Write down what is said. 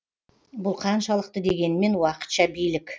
бұл қаншалықты дегенмен уақытша билік